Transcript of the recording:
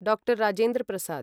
डा. राजेन्द्र प्रसाद्